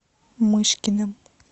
мышкиным